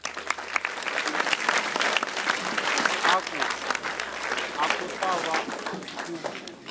a ku ta va ku